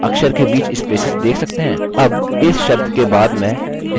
अब इस शब्द के बाद मैं space bar नहीं दबाऊँगा